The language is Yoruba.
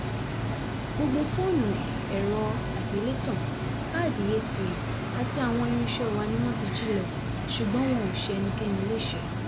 gbogbo fóònù ẹ̀rọ àgbélétàn káàdì atm àti àwọn irinṣẹ́ wa ni wọ́n jí lọ ṣùgbọ́n wọn ò ṣe ẹnikẹ́ni léṣe